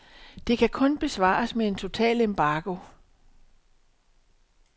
Det kan kun besvares med en total embargo.